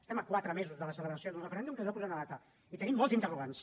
estem a quatre mesos de la celebració d’un referèndum que s’hi va posar una data i tenim molts interrogants